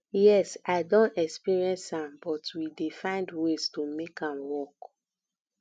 yes i don experience am but we dey find ways to make am work